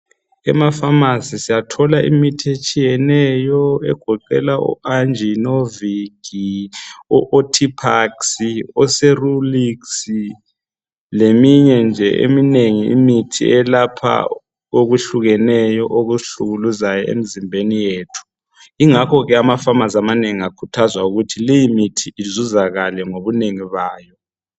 Emafamasi siyathola imithi etshiyeneyo egoqela oanjinovikhi, ootiphaksi , oserumiksi leminye nje eminengi imithi eyelapha okuhlukeneyo okusihlukuluzayo emzimbeni yethu. Ingakho amafamasi amanengi akhuthazwa ukuthi leyimithi izuzakale ngobunengi bayo.